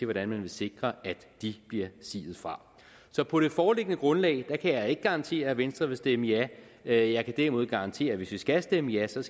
hvordan man vil sikre at de bliver siet fra så på det foreliggende grundlag kan jeg ikke garantere at venstre vil stemme ja jeg jeg kan derimod garantere at hvis vi skal stemme ja skal